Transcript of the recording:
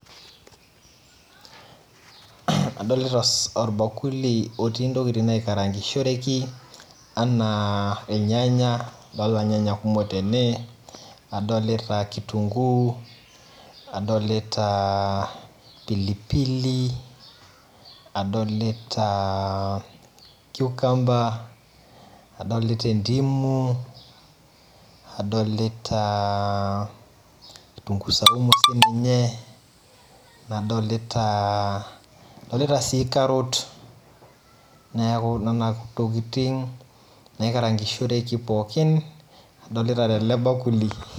Adolta orbakuli otii ntokitin naikarangishoreki anaa irnyanya, adolta irnyanya kumok tene nadolta kitunguu nadolta pilipili, adolita ciucumber adolta endimu adolta e kitunguu saumu, nadolita adolita sii carrot neaku nona tokitin naikarangishoreki pookin, adolta telebakuli.